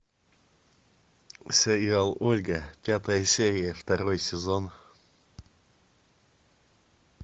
сериал ольга пятая серия второй сезон